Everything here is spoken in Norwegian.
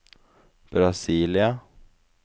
Brasília